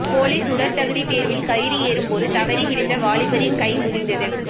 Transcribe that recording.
police உடற்தகுதி தேர்வில் கயிறு ஏறும்போது தவறி விழுந்த வாலிபரின் கை முறிந்தது